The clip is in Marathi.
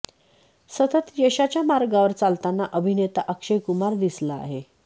सतत यशाच्या मार्गावर चालताना अभिनेता अक्षय कुमार दिसला आहे